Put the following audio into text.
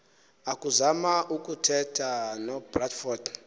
akuzama ukuthetha nobradford